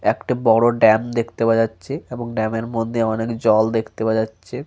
একটা বড় ড্যাম দেখতে পাওয়া যাচ্ছে এবং ড্যাম -এর মধ্যে অনেক জল দেখতে পাওয়া যাচ্ছে।